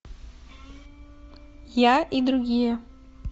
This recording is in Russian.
я и другие